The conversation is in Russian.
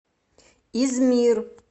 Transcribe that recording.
измир